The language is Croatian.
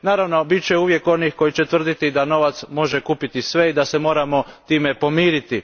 Naravno, bit će uvijek onih koji će tvrditi da novac može kupiti sve i da se moramo time pomiriti.